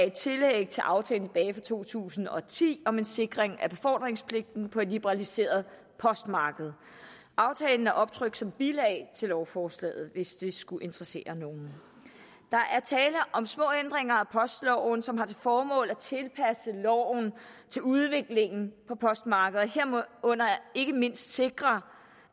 er et tillæg til aftalen tilbage to tusind og ti om en sikring af befordringspligten på et liberaliseret postmarked aftalen er optrykt som bilag til lovforslaget hvis det skulle interessere nogen der er tale om små ændringer af postloven som har til formål at tilpasse loven til udviklingen på postmarkedet herunder ikke mindst sikre